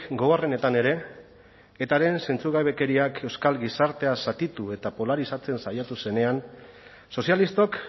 gogorrenetan ere etaren zentzugabekeriak euskal gizartea zatitu eta polarizatzen saiatu zenean sozialistok